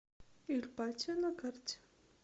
иль патио на карте